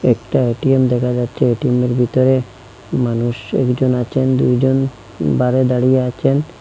একটা এ_টি_এম দেখা যাচ্ছে এটিএমের ভিতরে মানুষ একজন আছেন দুইজন বারে দাঁড়িয়ে আছেন।